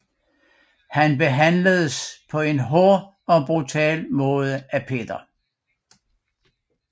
Han behandledes på en hård og brutal måde af Peter